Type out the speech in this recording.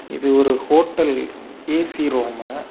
இது ஒரு hotel A C room .